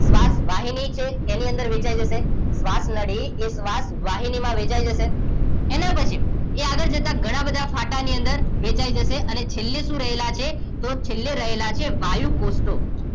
શ્વાસ વાહિની છે એની અંદર વેચાઈ જશે શ્વાસ નળી એ શ્વાસ વાહિનીમાં વહેંચાઈ જશે એના પછી એ આગળ જતાં ઘણા બધા ફાટાની અંદર વહેંચાઈ જશે અને છેલ્લે શું રહેલા છે તો છેલ્લે રહેલા છે વાયુકોષો